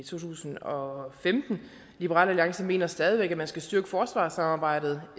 tusind og femten liberal alliance mener stadig væk at man skal styrke forsvarssamarbejdet